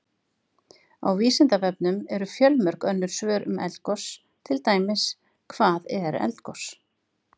Á Vísindavefnum eru fjölmörg önnur svör um eldgos, til dæmis: Hvað er eldgos?